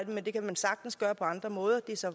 men det kan man sagtens gøre på andre måder og det er så